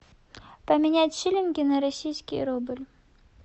поменять шиллинги на российский рубль